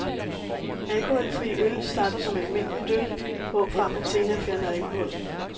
Alkoholfri øl starter som almindeligt øl, hvorfra man senere fjerner alkoholen.